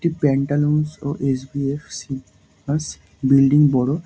একটি প্যান্টালুনস ও S. V F C ব্যাস বিল্ডিং বড়ো ।